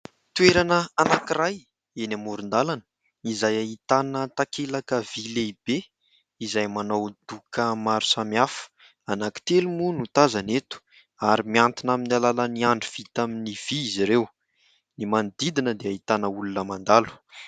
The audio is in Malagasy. Toerana anankiray eny amoron-dalana: izay ahitana takelaka vy lehibe, izay manao doka maro samy hafa anankitelo moa no tazana eto ary mihantona amin'ny alalan' ny andry vita amin' ny vy izy ireo; ny manodidina dia ahitana olona mandalo.